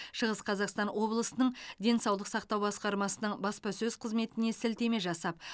шығыс қазақстан облысының денсаулық сақтау басқармасының баспасөз қызметіне сілтеме жасап